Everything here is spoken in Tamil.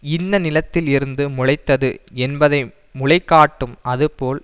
இன்ன நிலத்தில் இருந்து முளைத்தது என்பதை முளை காட்டும் அதுபோல்